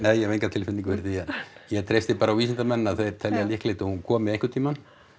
ég hef enga tilfinningu fyrir því ég treysti bara á vísindamennina og þeir telja líklegt að hún komi einhvern tímann